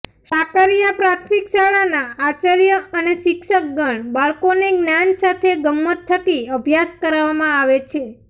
સાકરીયા પ્રાથમિક શાળાના આચાર્ય અને શિક્ષકગણ બાળકોને જ્ઞાન સાથે ગમ્મત થકી અભ્યાસ કરાવવામાં આવે છે